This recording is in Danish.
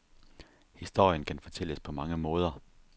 Historien kan fortælles på mange måder.